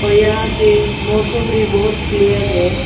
और यहा के मौसम भी बहोत क्लियर है।